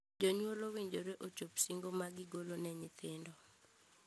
Jonyuol owinjore ochop singo ma gigolo ne nyithindo.